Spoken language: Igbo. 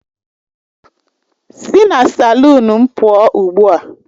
Sị na salụnu m pụọ ugbu a!